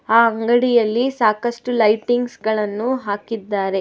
ಆ ಅಂಗಡಿಯಲ್ಲಿ ಸಾಕಷ್ಟು ಲೈಟಿಂಗ್ಸ್ ಗಳನ್ನು ಹಾಕಿದ್ದಾರೆ.